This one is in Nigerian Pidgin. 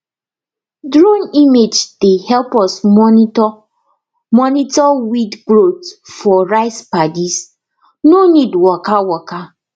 drone image dey help us monitor monitor weed growth for rice paddies no need waka waka